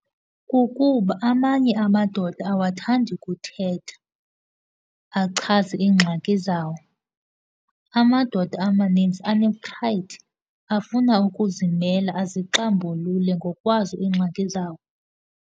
Kukuba amanye amadoda awathandi kuthetha, achaze iingxaki zawo. Amadoda amaninzi anephrayidi, afuna ukuzimela, azixambulule ngokwazo iingxaki zawo.